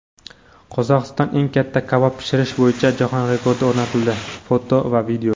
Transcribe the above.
Qozog‘istonda eng katta kabob pishirish bo‘yicha jahon rekordi o‘rnatildi (foto va video).